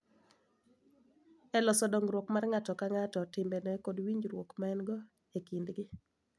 E loso dongruok mar ng�ato ka ng�ato, timbene, kod winjruok ma en-go e kindgi.